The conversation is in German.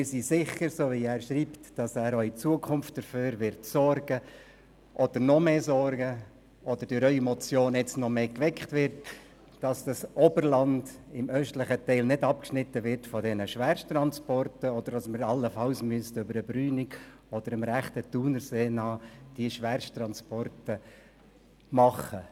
Wir sind sicher, dass er, wie er schreibt, auch in Zukunft dafür sorgen wird, dass das Oberland im östlichen Teil nicht für die Schwersttransporte abgeschnitten wird, sodass diese nicht über den Brünig oder das rechte Thunerseeufer geführt werden müssen.